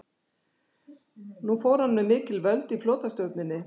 Nú fór hann með mikil völd í flotastjórninni.